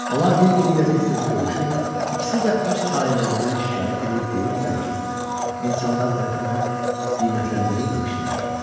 Onlar bir-biri ilə tez-tez görüşür, ikisi də öz talelərindən şikayət eləyib deyirdilər ki, insanlar tərəfindən qiymətləndirilməmişdilər.